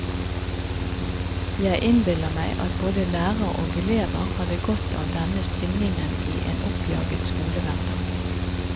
Jeg innbiller meg at både lærer og elever hadde godt av denne syngingen i en oppjaget skolehverdag.